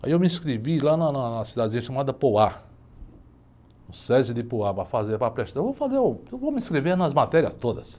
Aí eu me inscrevi lá na, na, na cidadezinha chamada, no Sesi de, para fazer, para prestar, eu vou fazer, eu vou me inscrever nas matérias todas.